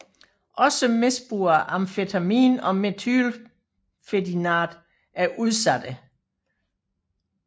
Også misbrugere af amfetamin og methylphenidat er udsatte